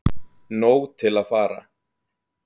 Nóg til að fara